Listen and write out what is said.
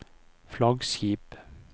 flaggskip